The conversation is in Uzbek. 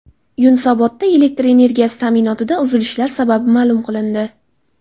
Yunusobodda elektr energiyasi ta’minotida uzilishlar sababi ma’lum qilindi.